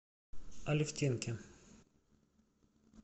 алефтинке